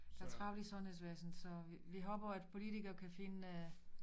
Der travlt i sundhedsvæsen så vi vi håber at politiker kan finde